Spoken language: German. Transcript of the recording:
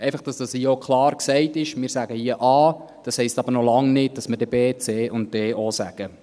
Einfach, damit dies hier auch klar gesagt ist: Wir sagen hier A, das heisst aber noch lange nicht, das wir dann auch B, C, und D sagen.